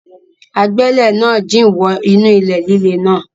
Agbẹ́lẹ̀ náà jìn wọ inú ilẹ̀ líle náà.